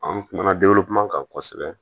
An kumana kumakan kan kosɛbɛ